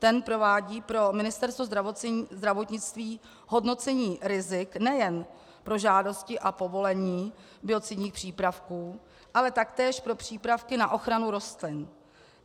Ten provádí pro Ministerstvo zdravotnictví hodnocení rizik nejen pro žádosti a povolení biocidních přípravků, ale taktéž pro přípravky na ochranu rostlin.